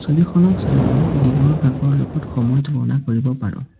ছবিখনক চাই আমি দিনৰ ভাগৰ লগত সময় তুলনা কৰিব পাৰোঁ।